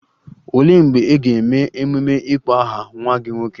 Olee mgbe a ga-eme ememe ịkpọ aha nwa gị nwoke?